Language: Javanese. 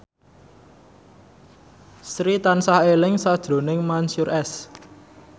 Sri tansah eling sakjroning Mansyur S